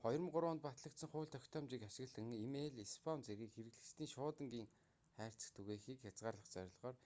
2003 онд батлагдсан хууль тогтоомжийг ашиглан и-мэйл спам зэргийг хэрэглэгчийн шуудангийн хайрцагт түгээхийг хязгаарлах зорилгоор